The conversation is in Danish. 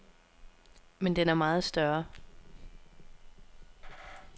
Men den er meget større.